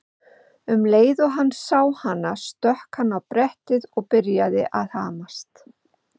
Um leið og hann sá hana stökk hann á brettið og byrjaði að hamast.